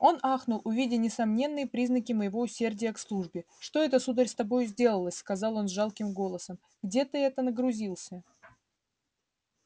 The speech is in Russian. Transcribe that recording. он ахнул увидя несомненные признаки моего усердия к службе что это сударь с тобою сделалось сказал он жалким голосом где ты это нагрузился